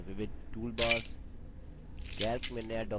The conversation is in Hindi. लिबर ऑफिस calc में विविध toolbars